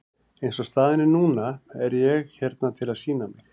Eins og staðan er núna er ég hérna til að sýna mig.